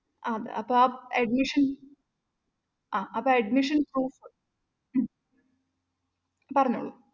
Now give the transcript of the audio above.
ആഹ് അത് അപ്പൊ ആ admission ആഹ് ആ admission proof ഉം പറഞ്ഞോളു